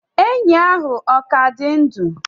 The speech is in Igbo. enyí ahụ ọ ka dị ndụ?